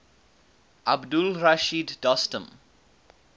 abdul rashid dostum